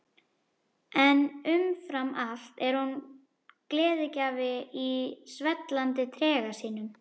En umfram allt er hún gleðigjafi í svellandi trega sínum.